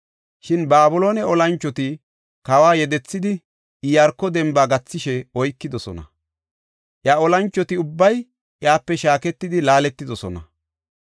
Shin Babiloone olanchoti kawa yedethidi, Iyaarko demba gathishe oykidosona. Iya olanchoti ubbay iyape shaaketidi laaletidosona.